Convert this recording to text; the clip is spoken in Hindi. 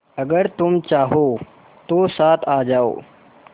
अगर तुम चाहो तो साथ आ जाओ